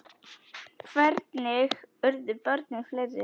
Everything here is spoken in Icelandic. Hvernig urðu börnin fleiri?